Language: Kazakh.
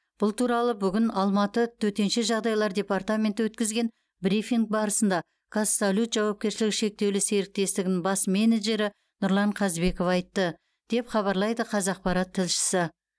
бұл туралы бүгін алматы төтенше жағдайлар департаменті өткізген брифинг барысында қазсалют жауапкершілігі шектеулі серіктестігін бас менеджері нұрлан қазбеков айтты деп хабарлайды қазақпарат тілшісі